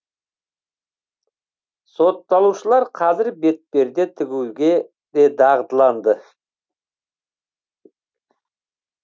сотталушылар қазір бетперде тігуге де дағдыланды